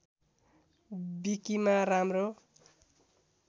विकिमा राम्रो